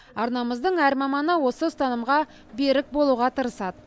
арнамыздың әр маманы осы ұстанымға берік болуға тырысады